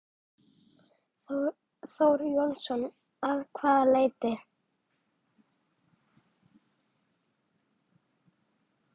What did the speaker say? Þór Jónsson: Að hvaða leyti?